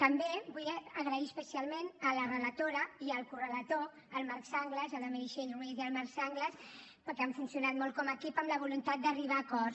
també vull donar les gràcies especialment a la relatora i al correlator la meritxell roigé i el marc sanglas que han funcionat molt com a equip amb la voluntat d’arribar a acords